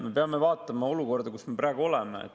Me peame vaatama olukorda, kus me praegu oleme.